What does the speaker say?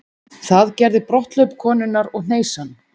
Það gerði brotthlaup konunnar og hneisan.